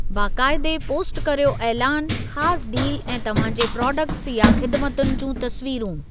बाक़ाइदे post करियो ऐलानु, ख़ासि डील ऐं तव्हां जे प्रोडक्ट्स या ख़िदमतुनि जूं तस्वीरूं।